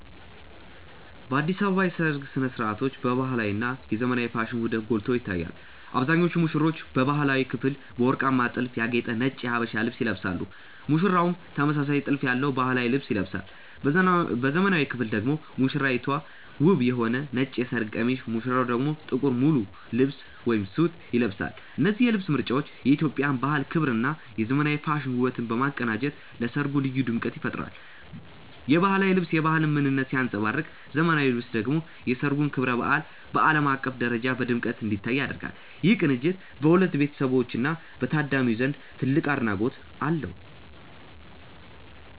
በአዲስ አበባ የሰርግ ሥነ ሥርዓቶች የባህላዊ እና የዘመናዊ ፋሽን ውህደት ጎልቶ ይታያል። አብዛኞቹ ሙሽሮች በባህላዊው ክፍል በወርቃማ ጥልፍ ያጌጠ ነጭ የሀበሻ ልብስ ይለብሳሉ ሙሽራውም ተመሳሳይ ጥልፍ ያለው ባህላዊ ልብስ ይለብሳል። በዘመናዊው ክፍል ደግሞ ሙሽራይቱ ውብ የሆነ ነጭ የሰርግ ቀሚስ ሙሽራው ደግሞ ጥቁር ሙሉ ልብስ (ሱት) ይለብሳሉ። እነዚህ የልብስ ምርጫዎች የኢትዮጵያን ባህል ክብርና የዘመናዊ ፋሽን ውበትን በማቀናጀት ለሠርጉ ልዩ ድምቀት ይፈጥራሉ። የባህላዊው ልብስ የባህልን ምንነት ሲያንጸባርቅ ዘመናዊው ልብስ ደግሞ የሠርጉን ክብረ በዓል በዓለም አቀፍ ደረጃ በድምቀት እንዲታይ ያደርጋል። ይህ ቅንጅት በሁለቱ ቤተሰቦችና በታዳሚው ዘንድ ትልቅ አድናቆት አለው።